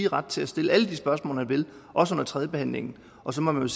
ret til at stille alle de spørgsmål han vil også under tredjebehandlingen og så må man